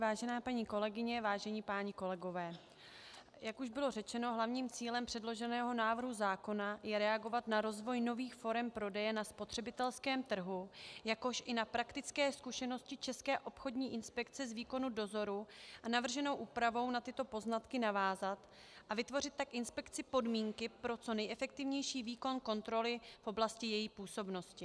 Vážené paní kolegyně, vážení páni kolegové, jak už bylo řečeno, hlavním cílem předloženého návrhu zákona je reagovat na rozvoj nových forem prodeje na spotřebitelském trhu, jakož i na praktické zkušenosti České obchodní inspekce z výkonu dozoru a navrženou úpravou na tyto poznatky navázat a vytvořit tak inspekci podmínky pro co nejefektivnější výkon kontroly v oblasti její působnosti.